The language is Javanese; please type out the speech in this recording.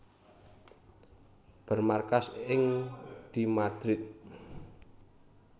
Bermarkas ing di Madrid